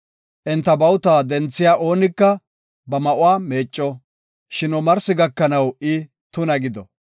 Enta bawuta denthiya oonika ba ma7uwa meecco; shin omarsi gakanaw I tuna gido.